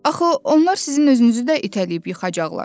Axı onlar sizin özünüzü də itələyib yıxacaqlar!”